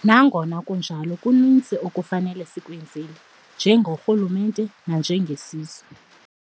Nangona kunjalo, kuninzi ekufuneka sikwenzile, nje gorhulumente nanjengesizwe.